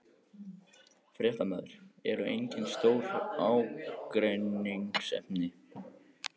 Fréttamaður: Eru engin stór ágreiningsefni?